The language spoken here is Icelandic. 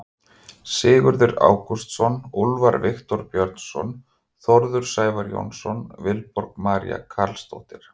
Sigurður Ágústsson, Úlfar Viktor Björnsson, Þórður Sævar Jónsson, Vilborg María Carlsdóttir.